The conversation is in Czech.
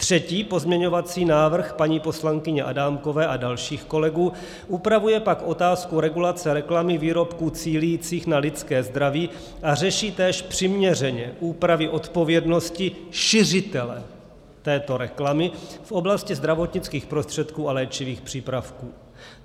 Třetí pozměňovací návrh - paní poslankyně Adámkové a dalších kolegů - upravuje pak otázku regulace reklamy výrobků cílících na lidské zdraví, a řeší tak přiměřeně úpravy odpovědnosti šiřitele této reklamy v oblasti zdravotnických prostředků a léčivých přípravků.